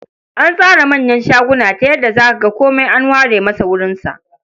An tsara manyan shaguna ta yadda za ka ga komai an ware masa wurinsa.